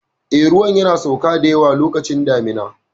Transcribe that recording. Eh, ruwan yana sauka da yawa lokacin damuna.